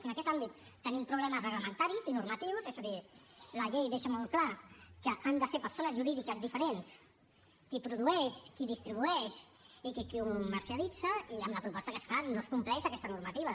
en aquest àmbit tenim problemes reglamentaris i normatius és a dir la llei deixa molt clar que han de ser persones jurídiques diferents qui produeix qui distribueix i qui ho comercialitza i amb la proposta que es fa no es compleix aquesta normativa